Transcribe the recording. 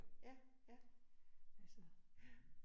Ja ja. Ja